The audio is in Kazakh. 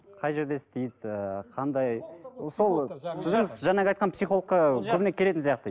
қай жерде істейді ііі қандай сол сіздің жаңағы айтқан психологқа көбіне келетін сияқты